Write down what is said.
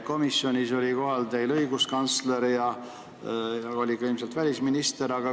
Komisjonis oli teil kohal õiguskantsler ja ilmselt oli ka välisminister.